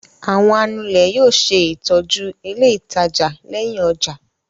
Àwọn anulẹ̀ yóò ṣe ìtọ́jú ilé-ìtajà lẹ́yìn ọjà.